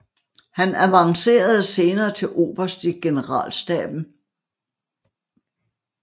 Han avancerede senere til oberst i generalstaben